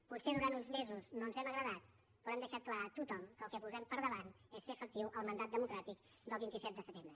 potser durant uns mesos no ens hem agradat però hem deixat clar a tothom que el que posem per davant és fer efectiu el mandat democràtic del vint set de setembre